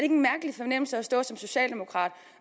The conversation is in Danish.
en mærkelig fornemmelse at stå som socialdemokrat